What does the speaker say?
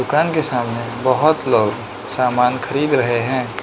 दुकान के सामने बहोत लोग सामान खरीद रहे हैं।